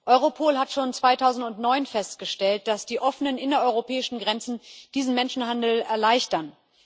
Europol hat schon 2009 festgestellt, dass die offenen innereuropäischen Grenzen diesen Menschenhandel erleichtern.